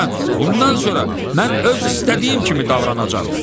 Bundan sonra mən öz istədiyim kimi davranacam.